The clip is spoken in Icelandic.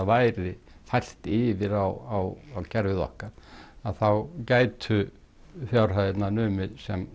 væri fært yfir á kerfið okkar þá gætu fjárhæðirnar numið sem